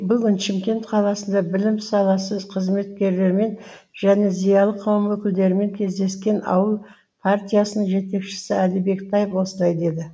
бүгін шымкент қаласында білім саласы қызметкерлерімен және зиялы қауым өкілдерімен кездескен ауыл партиясының жетекшісі әли бектаев осылай деді